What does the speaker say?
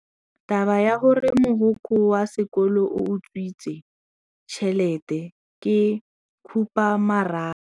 Taba ya gore mogokgo wa sekolo o utswitse tšhelete ke khupamarama.